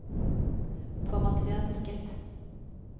formater diskett